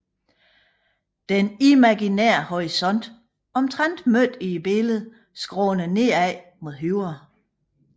Den imaginære horisont omtrent midt i billedet skråner nedad mod højre